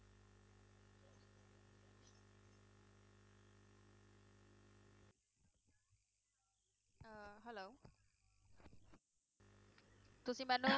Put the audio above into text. ਤੁਸੀਂ ਮੈਨੂੰ